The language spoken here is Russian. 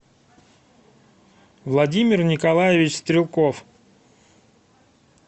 владимир николаевич стрелков